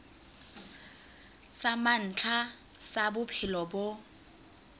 sa mantlha sa bophelo bo